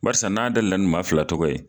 Barisa n'a dayɛlɛ la ni maa fila tɔgɔ ye.